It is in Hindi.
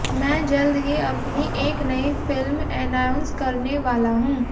मैं जल्द ही अपनी एक नई फिल्म एनाउंस करने वाला हूं